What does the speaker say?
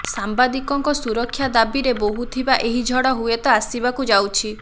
ସାମ୍ବାଦିକଙ୍କ ସୁରକ୍ଷା ଦାବିରେ ବୋହୂଥିବା ଏହି ଝଡ଼ ହୁଏତ ଆସିବାକୁ ଯାଉଛି